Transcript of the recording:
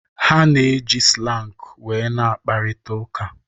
Ha slang wee na-akpakorita uka.